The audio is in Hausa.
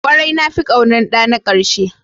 Kwarai, na fi ƙaunar ɗana na ƙarshe.